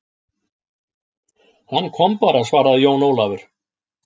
Hann kom bara, svaraði Jón Ólafur.